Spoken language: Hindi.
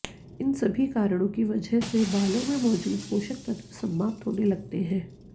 इन सभी कारणों की वजह से बालों में मौजूद पोषक तत्व समाप्त होने लगते है